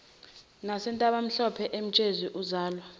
nasentabamhlophe emtshezi uzalwa